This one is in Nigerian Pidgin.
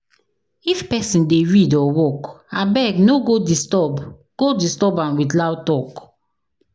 If pesin dey read or work, abeg no go disturb go disturb am with loud talk.